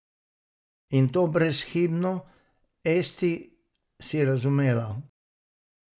In to brezhibno, Esti, si razumela?